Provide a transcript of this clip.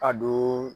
A don